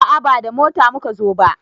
A'a ba da mota muka zo ba